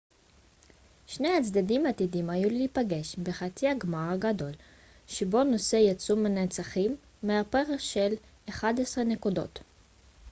שני הצדדים עתידים היו להיפגש בחצי הגמר הגדול שבו נוסה יצאו מנצחים בהפרש של 11 נקודות